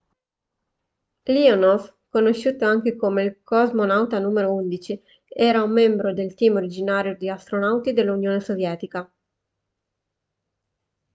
leonov conosciuto anche come cosmonauta n 11 era un membro del team originario di astronauti dell'unione sovietica